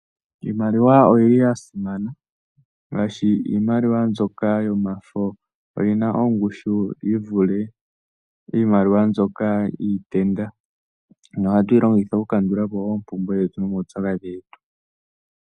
Iimaliwa oyi li ya simana, ngaashi iimaliwa mbyoka yomafo oyi na ongushu yi vule iimaliwa iikukutu. Oha tu yi longitha oku kandula po oompumbwe dhetu nomaupyakadhi getu.